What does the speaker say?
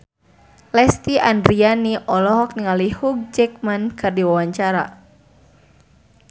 Lesti Andryani olohok ningali Hugh Jackman keur diwawancara